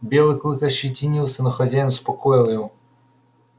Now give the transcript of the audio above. белый клык ощетинился но хозяин успокоил его